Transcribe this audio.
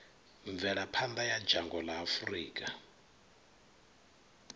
mvelaphanḓa ya dzhango ḽa afurika